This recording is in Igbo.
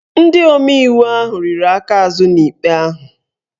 Ndị omeiwu ahụ riri aka azụ n'ikpe ahụ